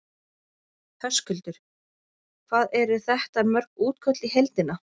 Höskuldur: Hvað eru þetta mörg útköll í heildina?